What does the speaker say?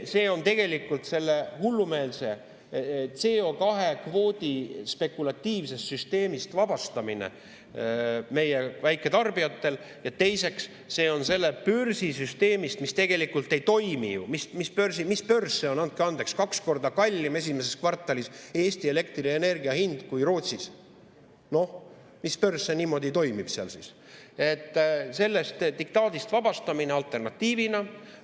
See on tegelikult meie väiketarbijate sellest hullumeelsest CO2-kvoodi spekulatiivsest süsteemist vabastamine ja teiseks, see on sellest börsisüsteemist, mis tegelikult ei toimi – mis börs see on, andke andeks, Eesti elektrienergia hind kaks korda kallim esimeses kvartalis kui Rootsis, noh, mis börs see niimoodi toimib –, sellest diktaadist vabastamine alternatiivina.